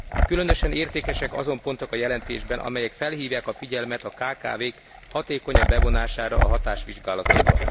Különösen értékesek azon pontok a jelentésben, amelyek felhívják a figyelmet a kkv k hatékonyabb bevonására a hatásvizsgálatokba.